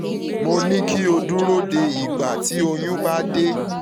mo ní kí o dúró de ìgbà tí oyún bá dé